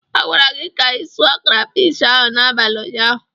A gwara gị ka ịsụ krafish ahụ n'abalị ụnyaahụ.